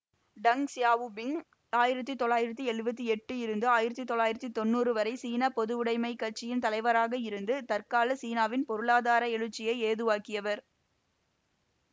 tongue Xiaoping ஆயிரத்தி தொள்ளயிரதி எழுபத்தி எட்டு இருந்து ஆயிரத்தி தொள்ளாயிரம் வரை சீன பொதுவுடமைக் கட்சியின் தலைவராக இருந்து தற்கால சீனாவின் பொருளாதார எழுச்சியை ஏதுவாக்கியவர்